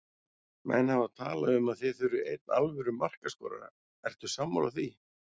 Menn hafa talað um að þið þurfið einn alvöru markaskorara, ertu sammála því?